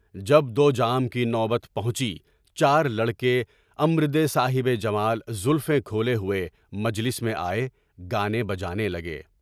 جب دو جام کی نوبت پہنچی چار لڑکے امر د صاحب جمال زلفیں کھولے ہوئے مجلس میں آئے، گانے بجانے لگے۔